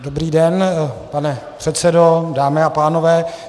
Dobrý den, pane předsedo, dámy a pánové.